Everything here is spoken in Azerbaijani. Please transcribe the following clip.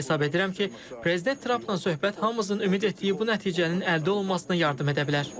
Hesab edirəm ki, prezident Trampla söhbət hamımızın ümid etdiyi bu nəticənin əldə olunmasına yardım edə bilər.